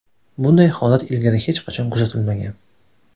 Bunday holat ilgari hech qachon kuzatilmagan.